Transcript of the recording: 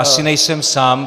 Asi nejsem sám.